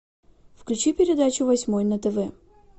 включи передачу восьмой на тв